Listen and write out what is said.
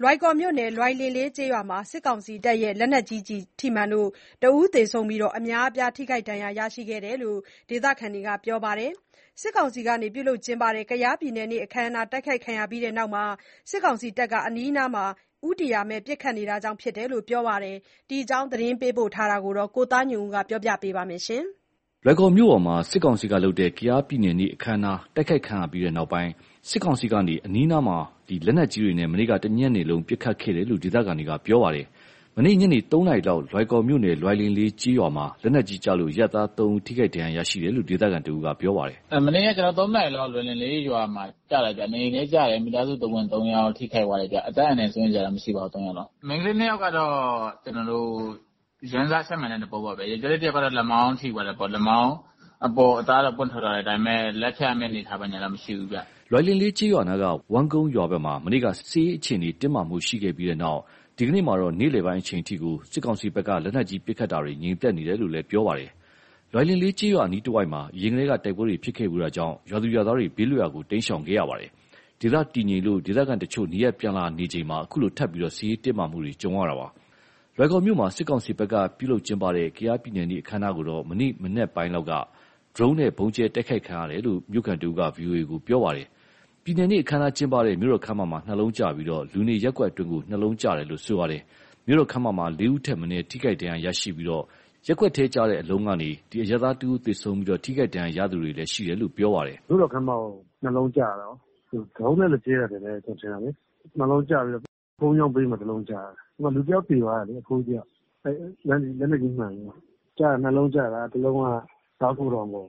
လွိုင်ကော်မြို့နယ် လွိုင်လင်လေးကျေးရွာမှာ စစ်ကောင်စီရဲ့ လက်နက်ကြီးထိမှန်လို့ တဦးသေဆုံးပြီး အများအပြား ဒဏ်ရရှိတယ်လို့ ဒေသခံတွေကပြောပါတယ်။ စစ်ကောင်စီက ပြုလုပ်တဲ့ ကယားပြည်နယ်နေ့အခမ်းအနား တိုက်ခိုက်ခံရပြီးနောက် စစ်ကောင်စီတပ်က အနီးအနားကို ဦးတည်ရာမဲ့ ပစ်ခတ်တာကြောင့်ဖြစ်တယ်လို့ ပြောပါတယ်။ ဒီအကြောင်း သတင်းပေးပို့ထားတာကို ကိုသားညွန့်ဦး ပြောပြမှာပါ။ လွိုင်ကော်မြို့ပေါ်မှာ စစ်ကောင်စီလုပ်တဲ့ ကယားပြည်နယ်နေ့အခမ်းအနားတိုက်ခိုက်ခံရပြီးတဲ့နောက်၊ စစ်ကောင်စီက အနီးအနားကို လက်နက်ကြီးတွေနဲ့ မနေ့က တညနေလုံး ပစ်ခတ်ခဲ့တယ်လို့ ဒေသခံတွေက ပြောပါတယ်။ မနေ့ ညနေ ၃နာရီလောက် လွိုင်ကော်မြို့နယ် လွိုင်လင်လေးကျေးရွာမှာ လက်နက်ကြီးကျလို့ အရပ်သား ၃ဦး ထိခိုက်ဒဏ်ရာရရှိတယ်လို့ ဒေသခံတဦးက ပြောပါတယ်။ “ မနေ့ ၃နာရီလောက် လွိုင်လင်လေးရွာမှာ ကျတာကျ နေအိမ်ထဲကျတယ် မိသားစု ၃ယောက်ထိခိုက်သွားတယ်ဗျ၊ အသက်အန္တရာယ်စိုးရိမ်စရာမရှိပါဘူး သုံးယောက်လုံး၊ မိန်းကလေနှစ်ယောက်တော့ ကျနော်တို့ ယမ်းဆထိမှန်လို့ ပေါက်တယ်၊ ယောကျာ်းလေတစ်ယောက်ကတော့ လက်မောင်းထိသွားတယ်ပေါ့ အပေါ်အသားတော့ ထွက်သွားတာ ဒါပေမယ့် လက်ဖြတ်ရမယ့် အနေအထားဘာညာတော့မရှိဘူးဗျ။” လွိုင်လင်လေးကျေးရွာနားက ဝမ်းကုန်းရွာဘက်မှာ မနေ့က စစ်ရေးအခြေအနေတင်းမာမှုရှိခဲ့ပြီးနောက်၊ ဒီကနေ့မှာတော့ နေ့လည်ပိုင်းအချိန်အထိ စစ်ကောင်စီဖက်က လက်နက်ကြီးပစ်ခတ်မှု ငြိမ်သက်နေတယ်လို့လည်း ပြောပါတယ်။ လွိုင်လင်လေးကျေးရွာအနားတစ်ဝိုက်မှာ အရင်ကတည်းက တိုက်ပွဲတွေကြောင့် ရွာသူရွာသားတွေ ဘေးလွတ်ရာကို တိမ်းရှောင်နေကြရတာပါ။ ဒေသတည်ငြိမ်လို့ ဒေသခံတချို့က နေရပ်ပြန်လာနေချိန်မှာ အခုလို ထပ်ပြီး စစ်ရေးတင်းမာမှုတွေကြုံနေရပါတယ်။ လွိုင်ကော်မြို့ မှာ စစ်ကောင်စီဖက်က ပြုလုပ်ကျင်းပတဲ့ ကယားပြည်နယ်နေ့ အခမ်းအနားကိုတော့ မနေ့ မနက်ပိုင်းလောက်က ဒရုန်းနဲ့ ဗုံးကြဲတိုက်ခိုက်ခံရတာလို့ မြို့ခံတစ်ဦးက VOA ကို ပြောပါတယ်။ ပြည်နယ်နေ့အခမ်းအနားကျင်းပတဲ့ မြို့တော်ခန်းမမှာ ၂လုံးကျပြီး လူနေရပ်ကွက်မှာ ၂လုံးကျတယ်လို့ ဆိုပါတယ်။ မြို့တော်ခန်းမမှာ ၄ဦးထက်မနည်း ထိဒဏ်ရာရရှိပြီး ရပ်ကွက်ထဲကျတဲ့ အလုံးက အရပ်သားတဦးသေဆုံးသလို ထိခိုက်ဒဏ်ရရှိသူတွေလည်း ရှိတယ်လို့ ပြောပါတယ်။ “မြို့တော်ခန်းမကို ၂လုံးကျတာရော ဒရုန်းနဲ့ လာကြဲတာထင်တယ် ကျနော်ထင်တာလေ။ ၂လုံးကျတော့ ဘုန်းကြီးကျောင်းဘေးမှာ တစ်လုံးကျတယ်၊ လူတစ်ယောက်သေသွားတာလေ အဖိုးကြီးတစ်ယောက် လက်နက်ကြီးမှန်ပြီးတော့။ ကျတာ ၂လုံးကျတာ တစ်လုံးက ကားဂိုဒေါင်ပေါ်